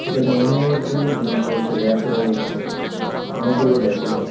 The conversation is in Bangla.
এখানে অনে-এক গুলো জিনিস রয়েছে। ব়্যাক রয়েছে। অনেকগুলো ব়্যাক রয়েছে ।